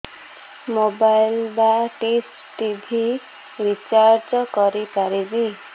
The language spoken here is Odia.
ମୋବାଇଲ୍ ବା ଡିସ୍ ଟିଭି ରିଚାର୍ଜ କରି ପାରିବି